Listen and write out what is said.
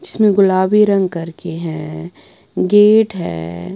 जिसमें गुलाबी रंग करके हैं गेट हैं।